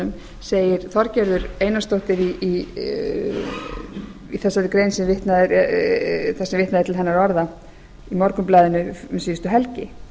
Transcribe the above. skýribreytunum segir þorgerður einarsdóttir þar sem vitnað er til hennar orða í morgunblaðinu um síðustu helgi